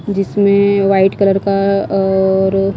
जीसमें white colour का और--